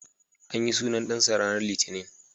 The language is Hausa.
An yi sunan dansa ranar Litinin.